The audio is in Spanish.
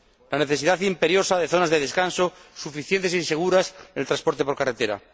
la necesidad imperiosa de zonas de descanso suficientes y seguras en el transporte por carretera